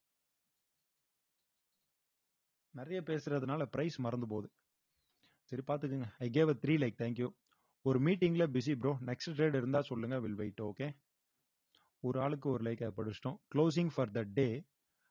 நிறைய பேசுறதுனால price மறந்து போகுது சரி பார்த்துக்கோங்க i gave a three like thank you ஒரு meeting ல busy bro next trade இருந்தா சொல்லுங்க will wait okay ஒரு ஆளுக்கு ஒரு like அ படிச்சுட்டோம் closing for the day